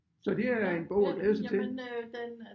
Så det er en bog at glæde sig til